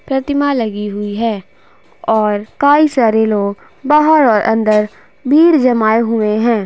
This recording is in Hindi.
प्रतिमा लगी हुई है और काई सारे लोग बाहर और अंदर भीड़ जमाए हुऐं हैं।